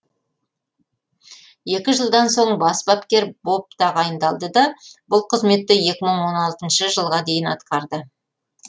екі жылдан соң бас бапкер боп тағайындалды да бұл қызметті екі мың он алтыншы жылға дейін атқарды